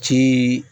Ci